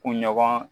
Kunɲɔgɔn